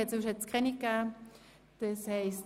Sonst hat es keine Änderungen gegeben.